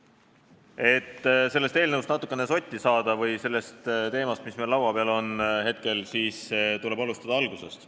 Et sellest eelnõust, mis meil laua peal on, ja sellest teemast natukene sotti saada, tuleb alustada algusest.